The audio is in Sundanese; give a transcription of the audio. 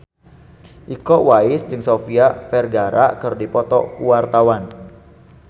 Iko Uwais jeung Sofia Vergara keur dipoto ku wartawan